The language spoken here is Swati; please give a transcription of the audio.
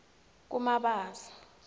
kumabasa